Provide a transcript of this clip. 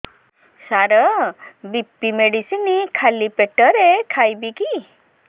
ସାର BP medicine ଖାଲି ପେଟରେ ଖାଇବି କି